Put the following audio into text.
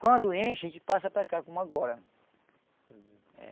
Quando enche, a gente passa para cá, como agora.